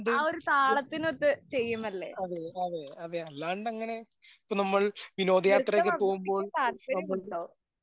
ആ ഒരു താളത്തിനൊത്ത് ചെയ്യുമല്ലേ? നൃത്തം അഭ്യസിക്കാന്‍ താല്പര്യം ഉണ്ടോ?